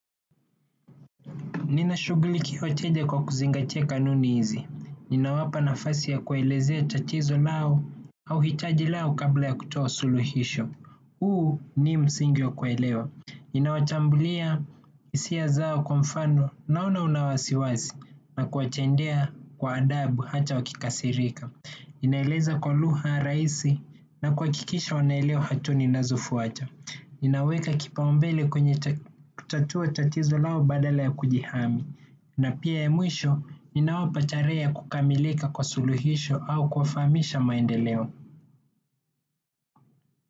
Ninashughulikia kila kitu kwa kuzingatia kanuni hizi. Ninawapa nafasi ya kuelezea tatizo lao au hitaji lao kabla ya kutoa suluhisho. Huu ni msingi wa kuwaelewa. Ninatambulia hisia zao, kwa mfano naona una wasiwasi, na kuwatendea kwa adabu hata wakikasirika. Ninaeleza kwa lugha rahisi na kuhakikisha wanaelewa hatua ninazofuata. Ninaweka kipaumbele kwenye kutatua tatizo lao badala ya kujihami. Na pia mwishoni, ninawapa tarehe ya kukamilika kwa suluhisho au kuwajulisha maendeleo.